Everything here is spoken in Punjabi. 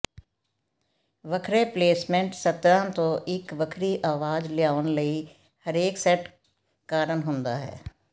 ਵੱਖਰੇ ਪਲੇਸਮੈਂਟ ਸਤਰਾਂ ਤੋਂ ਇੱਕ ਵੱਖਰੀ ਅਵਾਜ਼ ਲਿਆਉਣ ਲਈ ਹਰੇਕ ਸੈਟ ਕਾਰਨ ਹੁੰਦਾ ਹੈ